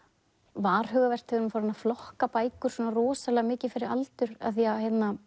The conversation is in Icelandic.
varhugavert þegar við erum farin að flokka bækur svona rosalega mikið fyrir aldur af því að